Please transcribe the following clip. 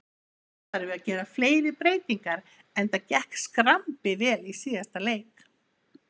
Óþarfi að gera fleiri breytingar enda gekk skrambi vel í síðasta leik.